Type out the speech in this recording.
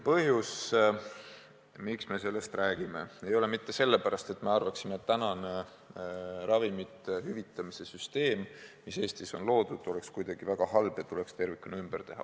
Põhjus, miks me sellest räägime, ei ole mitte see, et me arvaksime, et praegune ravimite hüvitamise süsteem, mis Eestis on loodud, oleks kuidagi väga halb ja tuleks tervikuna ümber teha.